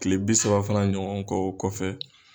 Kile bi saba fana ɲɔgɔn ko o kɔfɛ